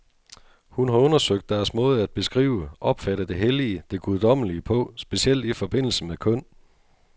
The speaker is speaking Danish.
Hun har undersøgt deres måde at beskrive, opfatte det hellige, det guddommelige på, specielt i forbindelse med køn.